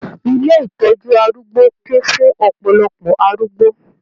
Ilé ìtọjú arúgbó kún fún ọpọlọpọ arúgbó.